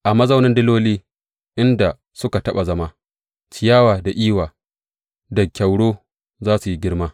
A mazaunin diloli, inda suka taɓa zama, ciyawa da iwa da kyauro za su yi girma.